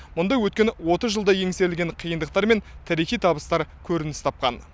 мұнда өткен отыз жылда еңсерілген қиындықтар мен тарихи табыстар көрініс тапқан